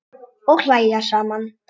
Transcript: Og hlæja saman.